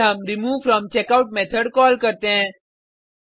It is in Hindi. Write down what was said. फिर हम रिमूवफ्रॉमचेकआउट मेथोड कॉल करते हैं